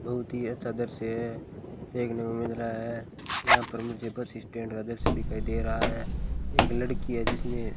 बहुत ही अच्छा दृश्य है देखने में मिल रहा है यहां पर मुझे बस स्टैंड का दृश्य दिखाई दे रहा है एक लड़की है जिसने --